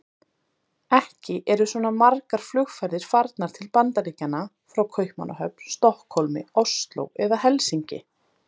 Ekki eru svona margar flugferðir farnar til Bandaríkjanna frá Kaupmannahöfn, Stokkhólmi, Osló eða Helsinki.